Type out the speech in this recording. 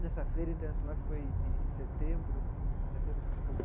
Nessa feira internacional, que foi de setembro, setembro desculpa.